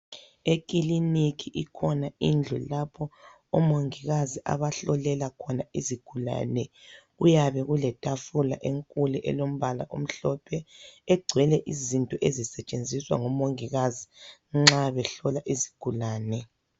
Ekiliniki ikhona indlu lapho omongikazi abahlolela khona izigulane. Kuyabe kulethafula enkulu elombala omhlophe egcwele izinto ezisetshenziswa ngomongikazi nxa behlola izigulane.